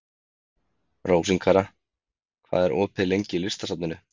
Rósinkara, hvað er opið lengi í Listasafninu?